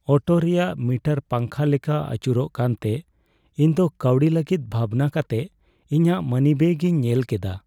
Auto ᱨᱮᱭᱟᱜ meter ᱯᱟᱝᱠᱷᱟ ᱞᱮᱠᱟ ᱟᱹᱪᱩᱨᱚᱜ ᱠᱟᱱᱛᱮ ᱤᱧᱫᱚ ᱠᱟᱹᱣᱰᱤ ᱞᱟᱹᱜᱤᱫ ᱵᱷᱟᱵᱽᱱᱟ ᱠᱟᱛᱮ ᱤᱧᱟᱹᱜ ᱢᱟᱱᱤᱵᱮᱹᱜ ᱤᱧ ᱧᱮᱞ ᱠᱮᱫᱟ ᱾